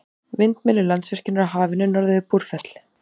Vindmyllur Landsvirkjunar á Hafinu norðan við Búrfell.